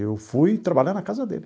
Eu fui trabalhar na casa dele.